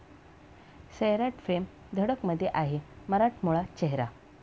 सैराट'फेम 'धडक'मध्ये आहे मराठमोळा चेहरा!